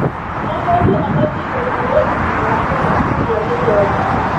O mũndũ abatiĩ gũkorwo na kĩhooto gĩa kũgĩa gĩthomo.